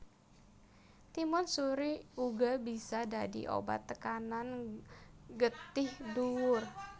Timun suri uga bisa dadi obat tekanan getih dhuwur